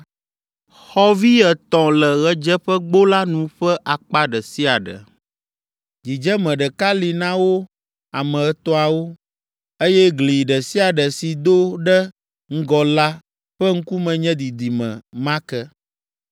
Xɔvi etɔ̃ le ɣedzeƒegbo la nu ƒe akpa ɖe sia ɖe; dzidzeme ɖeka li na wo ame etɔ̃awo, eye gli ɖe sia ɖe si do ɖe ŋgɔ la ƒe ŋkume nye didime ma ke.